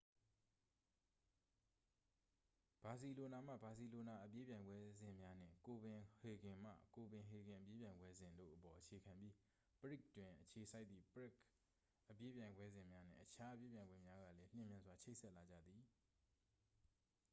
ဘာစီလိုနာမှ ဘာစီလိုနာအပြေးပြိုင်ပွဲစဉ်များ နှင့် ကိုပင်ဟေဂင်မှ ကိုပင်ဟေဂင် အပြေးပြိုင်ပွဲစဉ် တို့အပေါ် အခြေခံပြီး ပရဂ် တွင် အခြေစိုက်သည့် ပရဂ် အပြေးပြိုင်ပွဲစဉ်များ နှင့် အခြားအပြေးပြိုင်ပွဲများကလည်း လျှင်မြန်စွာဖြင့်ချိတ်ဆက်လာကြသည်